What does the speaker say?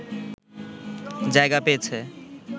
জায়গা পেয়েছে